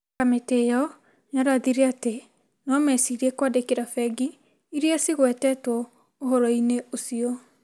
Kamĩtĩ ĩyo yarathire atĩ no mecirie kwandĩkĩra bengi iria cigwetetwo ũhoro-inĩ ũcio ,